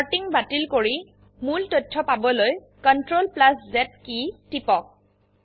sorting বাতিল কৰি মূল তথ্য পাবলৈ CTRL Z কী টিপক